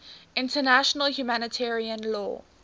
international humanitarian law